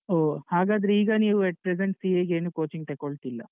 ಹೊ ಹಾಗಾದ್ರೆ ಈಗ ನೀವು at present CA ಗೇನು coaching ತೆಕೊಳ್ತಿಲ್ಲ.